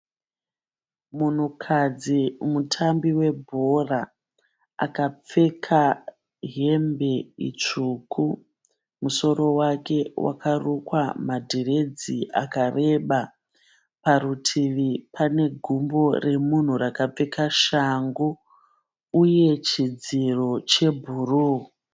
Munhukadzi mutambi webhora, akapfeka hembe tsuku. Musoro wake wakarukwa madiredzi akareba. Parutivi panegumbo remunhu rakapfeka shangu ,uye chidziro chebhuru.